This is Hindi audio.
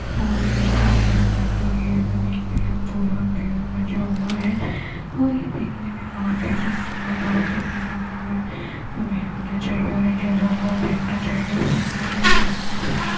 और यँहा पर एक लगी है। जमीन में यहाँ पूरा अँधेरा मचा हुआ है और ये देखने में बोहोत ही सुन्दर और बोहोत ही प्यारा लग रहा है हमें यहा आना चाहिए और इन देखना चाहिए और सुनना चाहिए परखना चाहिए --